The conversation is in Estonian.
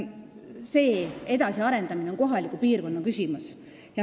See edasiarendamine on kohaliku piirkonna küsimus.